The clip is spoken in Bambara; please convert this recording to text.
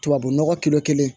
Tubabu nɔgɔ kelen kelen